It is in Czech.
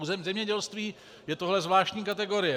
U zemědělství je tohle zvláštní kategorie.